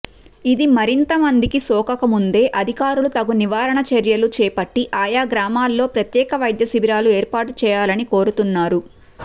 ఇది మరింతమందికి సోకకముందే అధికారులు తగు నివారణ చర్యలు చేపట్టి ఆయా గ్రామాల్లో ప్రత్యేక వైద్యశిబిరాలు ఏర్పాటు చేయాలని కోరుతున్నారు